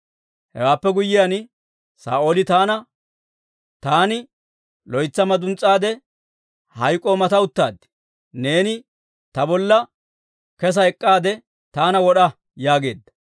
Hewaappe guyyiyaan Saa'ooli taana, ‹Taani loytsi maduns's'aade, hayk'k'oo mata uttaad; neeni ta bolla kesa ek'k'aade taana wod'a› yaageedda.